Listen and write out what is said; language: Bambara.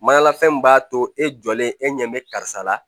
Mayanlafɛn min b'a to e jɔlen e ɲɛ bɛ karisa la